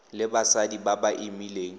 le basadi ba ba imileng